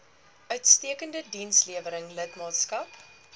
uitstekende dienslewering lidmaatskap